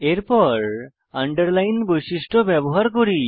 এরপর আন্ডারলাইন বৈশিষ্ট্য ব্যবহার করি